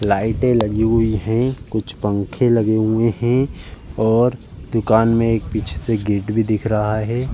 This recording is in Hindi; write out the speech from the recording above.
लाइटें लगी हुई हैं। कुछ पंखे लगे हुए हैं और दुकान में एक पीछे से गेट भी दिख रहा है।